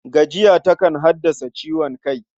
Gajiya takan haddasa ciwon kai.